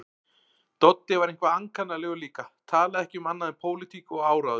Doddi var eitthvað ankannalegur líka, talaði ekki um annað en pólitík og áróður.